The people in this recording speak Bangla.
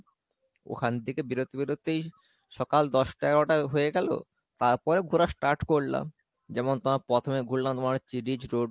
ওখান থেকে বেরোতে বেরোতেই সকাল দশটা এগারোটা হয়ে গেলো তারপরে ঘোরা start করলাম, যেমন তোমার প্রথমে ঘুরলাম Ridge road,